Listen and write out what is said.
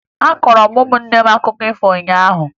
Akọọrọ m ụmụnne akụkọ ifo ụnyaahụ